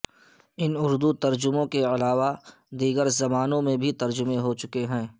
ان اردو ترجموں کے علاوہ دیگر زبانوں میں بھی ترجمے ہو چکے ہیں